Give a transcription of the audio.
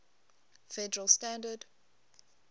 federal standard